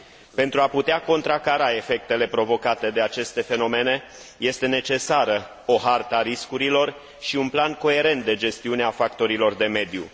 Pentru a putea contracara efectele provocate de aceste fenomene, este necesară o hartă a riscurilor și un plan coerent de gestiune a factorilor de mediu.